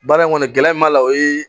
Baara in kɔni gɛlɛya in b'a la o ye